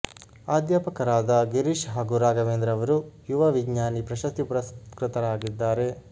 ಅಧ್ಯಾಪಕರಾದ ಗಿರೀಶ್ ಹಾಗೂ ರಾಘವೇಂದ್ರ ಅವರು ಯುವ ವಿಜ್ಞಾನಿ ಪ್ರಶಸ್ತಿ ಪುರಸ್ಕೃತರಾಗಿದ್ದಾರೆ